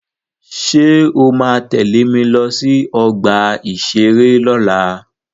Ṣé o ma tẹ́lẹ̀ mi lọ sí ọgbà-ìṣeré lọ́la?